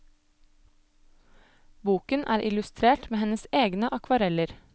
Boken er illustrert med hennes egne akvareller.